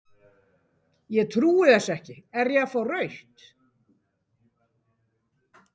Ég trúi þessu ekki, er ég að fá rautt?